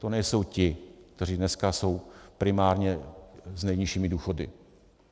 To nejsou ti, kteří dneska jsou primárně s nejnižšími důchody.